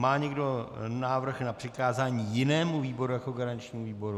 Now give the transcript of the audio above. Má někdo návrh na přikázání jinému výboru jako garančnímu výboru?